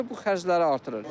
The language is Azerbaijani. Bu da bu xərcləri artırır.